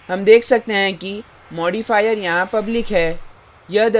हम देख सकते हैं कि modifier यहाँ public है